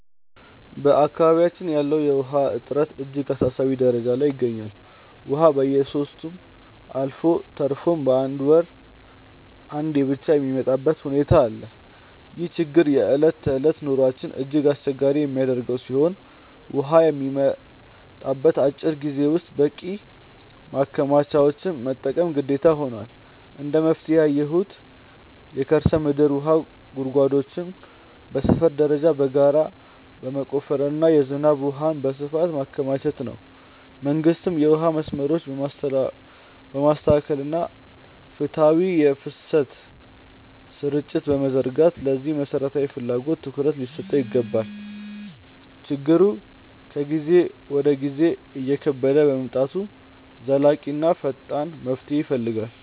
በአካባቢያችን ያለው የውሃ እጥረት እጅግ አሳሳቢ ደረጃ ላይ ይገኛል፤ ውሃ በየሦስት ሳምንቱ አልፎ ተርፎም በአንድ ወር አንዴ ብቻ የሚመጣበት ሁኔታ አለ። ይህ ችግር የዕለት ተዕለት ኑሯችንን እጅግ አስቸጋሪ የሚያደርገው ሲሆን፣ ውሃ በሚመጣበት አጭር ጊዜ ውስጥ በቂ ማከማቻዎችን መጠቀም ግዴታ ሆኗል። እንደ መፍትሄ ያየሁት የከርሰ ምድር ውሃ ጉድጓዶችን በሰፈር ደረጃ በጋራ መቆፈርና የዝናብ ውሃን በስፋት ማከማቸት ነው። መንግስትም የውሃ መስመሮችን በማስተካከልና ፍትሃዊ የፍሰት ስርጭት በመዘርጋት ለዚህ መሠረታዊ ፍላጎት ትኩረት ሊሰጠው ይገባል። ችግሩ ከጊዜ ወደ ጊዜ እየከበደ በመምጣቱ ዘላቂና ፈጣን መፍትሄ ይፈልጋል።